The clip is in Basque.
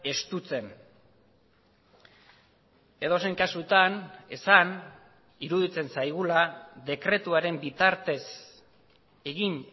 estutzen edozein kasutan esan iruditzen zaigula dekretuaren bitartez egin